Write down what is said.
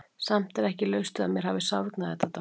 Samt er ekki laust við að mér hafi sárnað þetta dálítið.